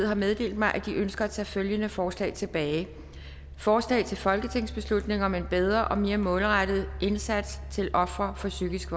har meddelt mig at de ønsker at tage følgende forslag tilbage forslag til folketingsbeslutning om en bedre og mere målrettet indsats til ofre for psykisk